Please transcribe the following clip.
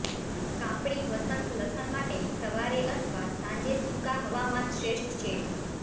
કાપણી વસંત લસણ માટે સવારે અથવા સાંજે સૂકા હવામાન શ્રેષ્ઠ છે